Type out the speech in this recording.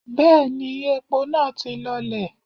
Bẹ́ẹ̀ni, epo naa ti lọlẹ̀.